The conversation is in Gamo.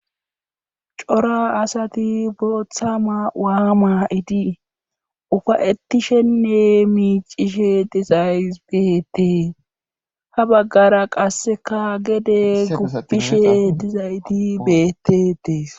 Cora asati bootha ma7uwa maa7idi ufa7ettisenne miicishe dizays beettees ha baggara qasse ka gade gupishe dizayteti beetetes.